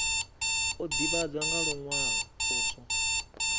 o ivhadzwa nga luwalo poswo